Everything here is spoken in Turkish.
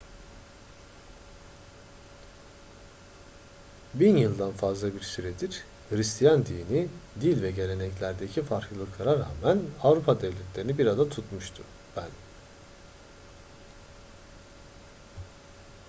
bin yıldan fazla bir süredir hıristiyan dini dil ve geleneklerdeki farklılıklara rağmen avrupa devletlerini bir arada tutmuştu ben